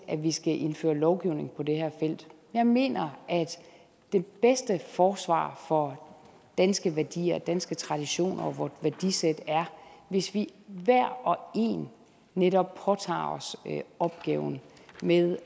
at vi skal indføre lovgivning på det her felt jeg mener at det bedste forsvar for danske værdier og danske traditioner og værdisæt er hvis vi hver og en netop påtager os opgaven med